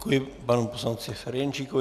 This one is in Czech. Děkuji panu poslanci Ferjenčíkovi.